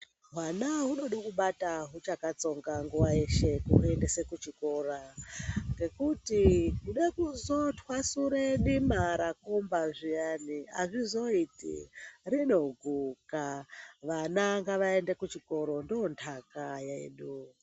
Hwana hwunode kubata huchakatsonga nguwa yeshe kuendese kuchikora ngekuti kude kuzotwasure dima rakumba zviyani azvizoiti rinoguka. Vana ngavaende kuchikoro ndondaka yedu.